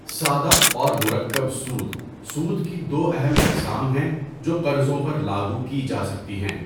سادہ اور مرکب سود، سود کی دو اہم اقسام ہیں جو قرضوں پر لاگو کی جا سکتی ہیں۔